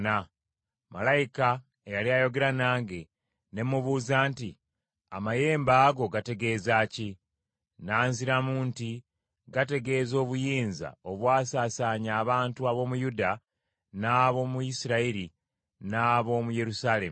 Malayika eyali ayogera nange ne mubuuza nti, “Amayembe ago gategeeza ki?” N’anziramu nti, “Gategeeza obuyinza obwasaasaanya abantu ab’omu Yuda, n’ab’omu Isirayiri, n’ab’omu Yerusaalemi.”